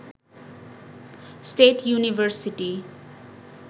state university